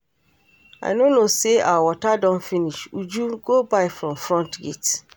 I no know say our water don finish. Uju go buy from front gate